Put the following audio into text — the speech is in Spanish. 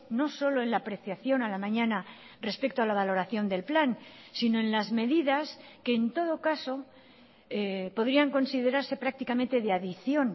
no solo en la apreciación a la mañana respecto a la valoración del plan sino en las medidas que en todo caso podrían considerarse prácticamente de adición